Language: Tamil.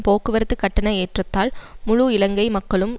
போக்குவரத்து கட்டண ஏற்றத்தால் முழு இலங்கை மக்களும்